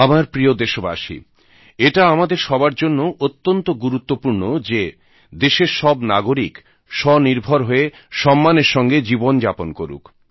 আমার প্রিয় দেশবাসী এটা আমাদের সবার জন্য অত্যন্ত গুরুত্বপূর্ণ যে দেশের সব নাগরিক স্বনির্ভর হয়ে সম্মানের সঙ্গে জীবন যাপন করুক